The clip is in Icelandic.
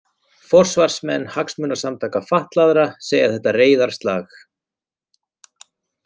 Forsvarsmenn hagsmunasamtaka fatlaðra segja þetta reiðarslag